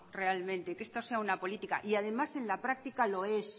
realmente que esto sea una política y además en la práctica lo es